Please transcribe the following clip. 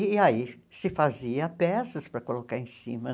E aí se fazia peças para colocar em cima.